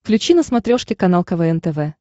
включи на смотрешке канал квн тв